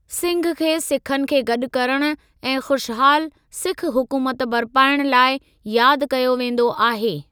सिंह खे सिखनि खे गॾु करण ऐं खुशहाल सिख हुकूमत बर्पाइण लाइ याद कयो वेंदो आहे।